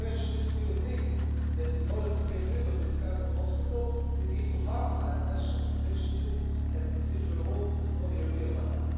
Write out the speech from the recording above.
So my question is do you think that, in order to get rid of these kinds of obstacles, we need to harmonise national taxation systems and procedural rules at the European level?